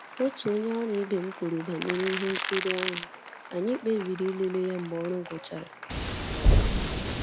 Otu onye ọrụ ibe m kwuru banyere ihe nkiri ahụ, anyị kpebiri ịlele ya mgbe ọrụ gwụchara